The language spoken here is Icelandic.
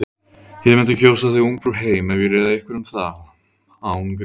Ég mundi kjósa þig Ungfrú heim ef ég réði einhverju um það. án gríns.